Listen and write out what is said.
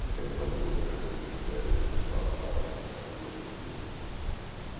Porque é espantoso ver como se escreve, como se fala mal a língua portuguesa.